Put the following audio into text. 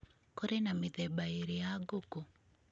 Kũrĩ na mĩthemba ĩĩrĩ ya ngũkũ.